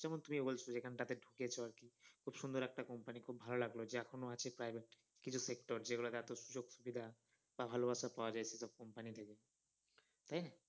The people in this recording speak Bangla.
যেমন তুমি বলছো যেখান টাতে ঢুকেছ আর কি খুব সুন্দর একটা company খুব ভালো লাগলো যে এখনো আছে private কিছু sector যেগুলো এত সুযোগ-সুবিধা বা ভালোবাসা পাওয়া যাচ্ছে এরকম company থেকে